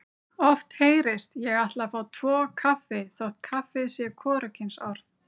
Oft heyrist: Ég ætla að fá tvo kaffi þótt kaffi sé hvorugkynsorð.